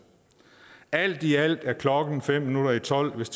alt i alt er klokken fem minutter i tolv hvis